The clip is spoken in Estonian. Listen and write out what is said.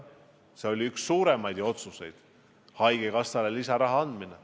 See oli üks meie suuremaid otsuseid, et haigekassale tuleb lisaraha anda.